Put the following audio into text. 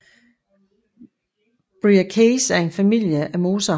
Bryaceae er en familie af mosser